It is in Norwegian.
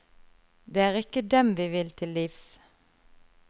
Det er ikke dem vi vil til livs.